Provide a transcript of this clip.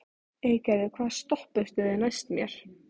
Eygerður, hvaða stoppistöð er næst mér?